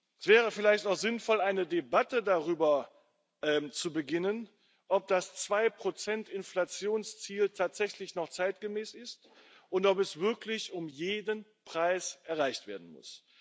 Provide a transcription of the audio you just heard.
Es wäre vielleicht noch sinnvoll, eine Debatte darüber zu beginnen, ob das 2 Inflationsziel tatsächlich noch zeitgemäß ist und ob es wirklich um jeden Preis erreicht werden muss.